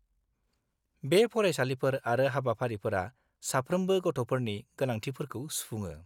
बे फरायसालिफोर आरो हाबाफारिफोरा साफ्रोमबो गथ'फोरनि गोनांथिफोरखौ सुफुङो।